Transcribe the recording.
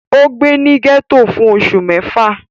Ó gbé ní gẹ́tò fún oṣù mẹ́fà